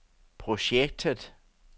projektet